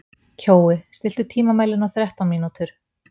Kjói, stilltu tímamælinn á þrettán mínútur.